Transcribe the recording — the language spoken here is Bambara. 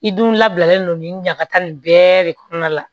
I dun labilalen don nin ɲagatan nin bɛɛ de kɔnɔna la